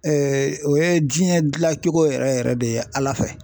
o ye diɲɛ dilancogo yɛrɛ yɛrɛ de ye Ala fɛ .